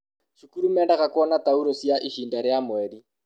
cukuru mendaga kuona tauro cia ihinda ria mweri.